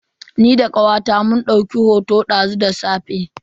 Ni da kawata mun dauki hoto ta snaf shat dazu da safe.